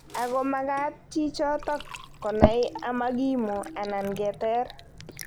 "Ako makaat chichitok kohai amakimuu anan keteer."